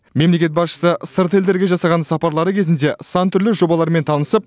мемлекет басшысы сырт елдерге жасаған сапарлары кезінде сан түрлі жобалармен танысып